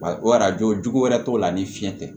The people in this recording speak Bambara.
O arajo jugu wɛrɛ t'o la ni fiɲɛ tɛ